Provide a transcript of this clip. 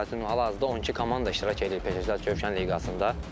Məsəl üçün, hal-hazırda 12 komanda iştirak eləyir Peşəkar Çövkən liqasında.